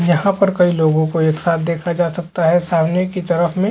यहाँ पर कई लोगो को एक साथ देखा जा सकता है सामने की तरफ में--